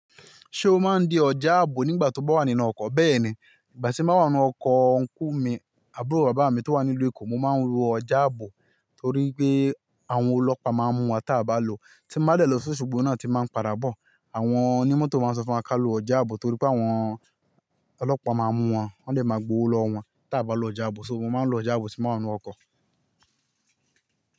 Ṣé o máa ń dí ọjà ààbò nígbà tí o bá wà nínú ọkọ̀? Bẹ́ẹ̀ni, ìgbà tí mo wà nínú ọkọ̀ unku mi, àbúrò bàbá mi tó wà ní ìlú Èkó, mo máa ń lo ọjà ààbò torí pé àwọn ọlọ́pàá máa ń mú wa tí aa bá lò. Tí mo bá dẹ̀ lọ si osogbo náà ti máa ń padà bọ̀. Àwọn onímọ́tò máa ń sọ fún wa ká lọ ọjà ààbò torí pé àwọn ọlọ́pàá máa ń mú wọn, wọn lè máa gbo owó lọ wọ́n tí a bá lọ ọjà ààbò, ṣo mo máa ń lo ọjà ààbò tí mo wà nínú ọkọ̀.